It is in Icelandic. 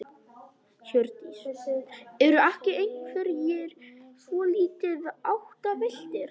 Hjördís: Eru ekki einhverjir svolítið áttavilltir?